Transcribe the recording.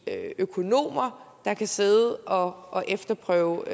det er økonomer der kan sidde og og efterprøve